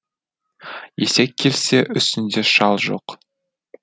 есек келсе үстінде шал жоқ